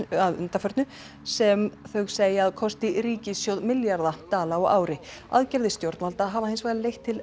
að undanförnu sem þau segja að kosti ríkissjóð milljarða dollara á ári aðgerðir stjórnvalda hafa hins vegar leitt til